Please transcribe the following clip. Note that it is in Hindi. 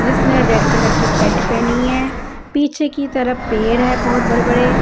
जिसने रेड कलर की पेंट पहनी है पीछे की तरफ पेड़ है बहोत बड़े बड़े--